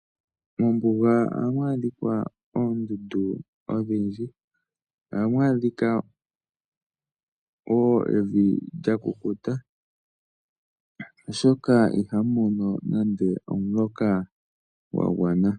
Mombuga ohamu adhika oondundu odhindji. Ohamu adhika wo evi lya kukuta, oshoka ihamu mono nande omuloka gwa gwana.